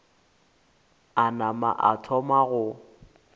a nama a thoma go